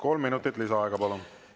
Kolm minutit lisaaega, palun!